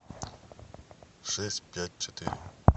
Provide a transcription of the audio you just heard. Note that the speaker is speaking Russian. шесть пять четыре